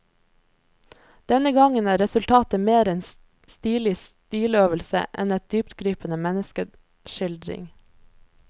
Denne gangen er resultatet mer en stilig stiløvelse enn en dyptgripende menneskeskildring.